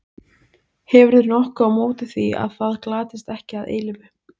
Hefurðu nokkuð á móti því að það glatist ekki að eilífu?